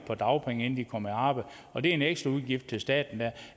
på dagpenge inden de kom i arbejde og det er en ekstra udgift til staten